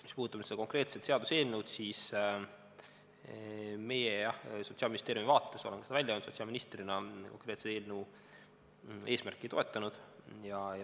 Mis puudutab seda konkreetset seaduseelnõu, siis meie, jah, Sotsiaalministeeriumi vaates oleme selle välja öelnud, sotsiaalministrina olen konkreetse eelnõu eesmärki toetanud.